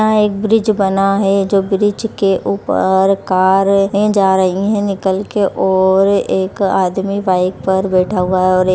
यहां एक ब्रिज बना है जो ब्रिज के ऊपर कारे जा रही हैं। निकल के और एक आदमी बाइक पर बैठा हुआ हैं और एक --